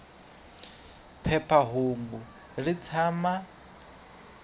phepha hungu ri tshama